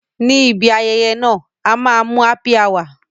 Ní ibi ayẹyẹ náà, a máa mu Happy hour